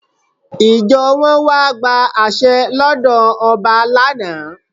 Ìjọ wọn wá gba àṣẹ lọ́dọ̀ ọba lánà.